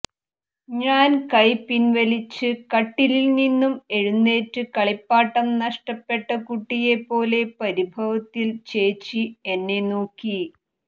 ഞാൻ കൈ പിൻവലിച്ച് കട്ടിലിൽ നിന്നും എഴുന്നേറ്റു കളിപ്പാട്ടം നഷ്ട്ടപ്പെട്ട കുട്ടിയെ പോലെ പരിഭവത്തിൽ ചേച്ചി എന്നെ നോക്കി